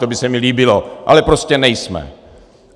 To by se mi líbilo, ale prostě nejsme.